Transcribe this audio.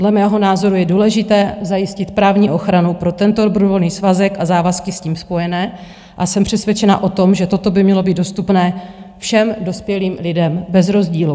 Dle mého názoru je důležité zajistit právní ochranu pro tento dobrovolný svazek a závazky s tím spojené a jsem přesvědčena o tom, že toto by mělo být dostupné všem dospělým lidem bez rozdílu.